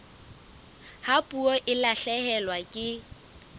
ha puo e lahlehelwa ke